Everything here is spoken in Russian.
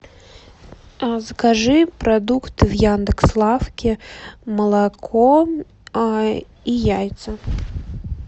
закажи продукты в яндекс лавке молоко и яйца